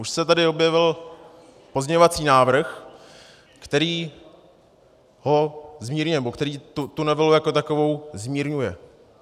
Už se tady objevil pozměňovací návrh, který ho zmírňuje, nebo který tu novelu jako takovou zmírňuje.